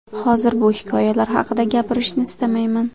Hozir bu hikoyalar haqida gapirishni istamayman.